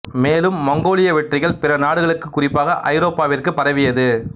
மேலும் மங்கோலிய வெற்றிகள் பிற நாடுகளுக்கு குறிப்பாக ஐரோப்பாவிற்குப் பரவியது